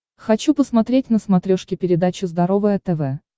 хочу посмотреть на смотрешке передачу здоровое тв